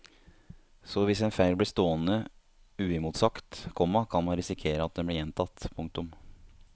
Så hvis en feil blir stående uimotsagt, komma kan man risikere at den blir gjentatt. punktum